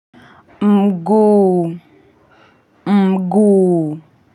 Mguu, mguu.